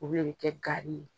o de bɛ kɛ gari ye.